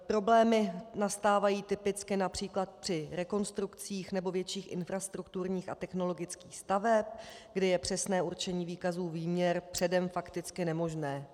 Problémy nastávají typicky například při rekonstrukcích nebo větších infrastrukturních a technologických staveb, kdy je přesné určení výkazů výměr předem fakticky nemožné.